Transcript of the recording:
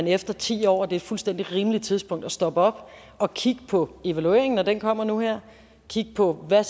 efter ti år er et fuldstændig rimeligt tidspunkt at stoppe op og kigge på evalueringen når den kommer nu her kigge på hvad